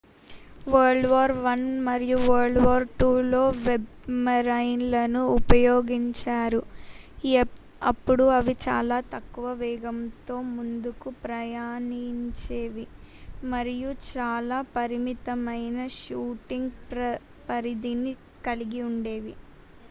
world war i మరియు world war iiలో సబ్‌మెరైన్‌లను ఉపయోగించారు. అప్పుడు అవి చాలా తక్కువ వేగంతో ముందుకు ప్రయాణించేవి మరియు చాలా పరిమితమైన షూటింగ్ పరిధిని కలిగి ఉండేవి